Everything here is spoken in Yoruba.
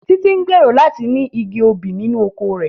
Títí ń gbèrò láti ní igi obì nínú oko rẹ̀